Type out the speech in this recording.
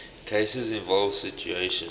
cases involve situations